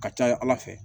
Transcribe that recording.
Ka ca ala fɛ